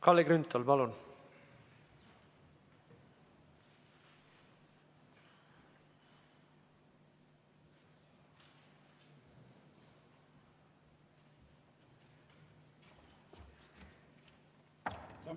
Kalle Grünthal, palun!